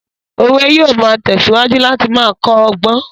Òwe yóò máa tẹ̀síwájú láti máa kọ́ ọgbọ́n